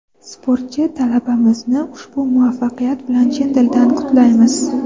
Sportchi talabamizni ushbu muvaffaqiyat bilan chin dildan qutlaymiz!.